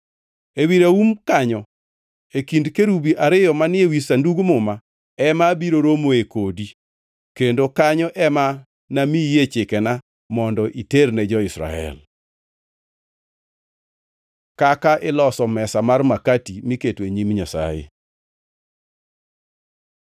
Ewi raum kanyo e kind kerubi ariyo manie wi Sandug Muma, ema abiro romoe kodi kendo kanyo ema namiyie chikena mondo iterne jo-Israel. Kaka iloso mesa mar makati miketo e nyim Nyasaye